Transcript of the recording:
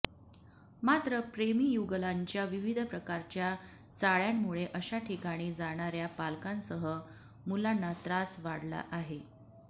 मात्र प्रेमी युगुलांच्या विविध प्रकारच्या चाळ्यांमुळे अशा ठिकाणी जाणार्या पालकांसह मुलांना त्रास वाढला आहे